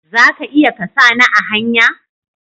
Za ka iya ka sa ni a hanya?